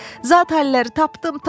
Zatəlləri tapdım, tapdım,